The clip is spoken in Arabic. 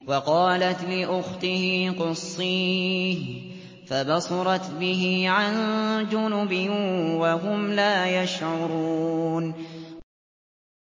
وَقَالَتْ لِأُخْتِهِ قُصِّيهِ ۖ فَبَصُرَتْ بِهِ عَن جُنُبٍ وَهُمْ لَا يَشْعُرُونَ